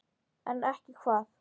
En ekki hvað?